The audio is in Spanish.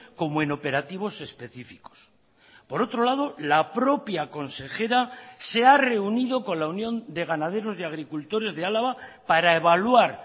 como en operativos específicos por otro lado la propia consejera se ha reunido con la unión de ganaderos y agricultores de álava para evaluar